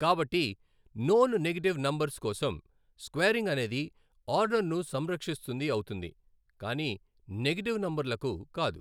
కాబట్టి non negative numbers కోసం squaring అనేది ఆర్డర్ ను సంరక్షిస్తుంది అవుతుంది కాని నెగటివ్ నంబర్ లకు కాదు.